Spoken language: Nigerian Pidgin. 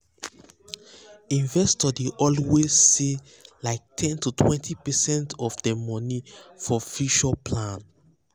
investors dey always um save like ten totwentypercent of dem money for future plan. um